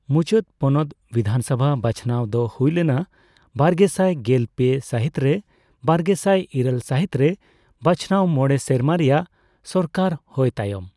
ᱢᱩᱪᱟᱹᱫ ᱯᱚᱱᱚᱛ ᱵᱤᱫᱷᱟᱱᱥᱚᱵᱷᱟ ᱵᱟᱪᱷᱱᱟᱣᱫᱚ ᱦᱳᱭ ᱞᱮᱱᱟ ᱵᱟᱨᱜᱮᱥᱟᱭ ᱜᱮᱞ ᱯᱮ ᱥᱟᱹᱦᱤᱛᱨᱮ, ᱵᱟᱨᱜᱮᱥᱟᱭ ᱤᱨᱟᱹᱞ ᱥᱟᱹᱦᱤᱛᱨᱮ ᱵᱟᱪᱷᱱᱟᱣ ᱢᱚᱬᱮ ᱥᱮᱨᱢᱟ ᱨᱮᱭᱟᱜ ᱥᱚᱨᱠᱟᱨ ᱦᱳᱭ ᱛᱟᱭᱚᱢ ᱾